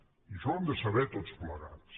i això ho hem de saber tots plegats